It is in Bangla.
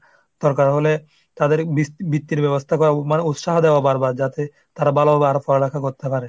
দরকার হলে তাদের বৃ~ বৃত্তির ব্যবস্থা করা। মা~ মানে উৎসাহ দেওয়া বারবার। যাতে তারা ভালোভাবে আরও পড়ালেখা করতে পারে।